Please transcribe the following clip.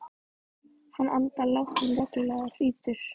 Hann andar lágt en reglulega og hrýtur.